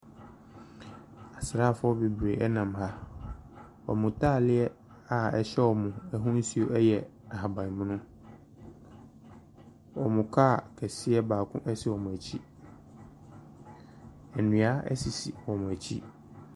Asrafoɔ beberee ɛnam ha. Wɔ mu taaleɛ a ɛhyɛ ɔmu ahosow ɛyɛ ahabanmono, ɔmmu kaa kɛseɛ baako esi ɔmmu akyi. Ndua esisi ɔmmu akyi.